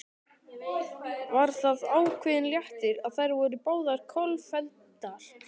Var það ákveðinn léttir að þær voru báðar kolfelldar?